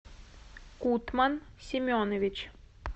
кутман семенович